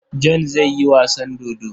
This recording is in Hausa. John zai yi wasan dodo.